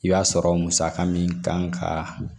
I b'a sɔrɔ musaka min kan ka